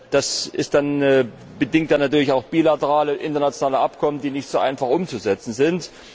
Das bedingt dann natürlich auch bilaterale internationale Abkommen, die nicht so einfach umzusetzen sind.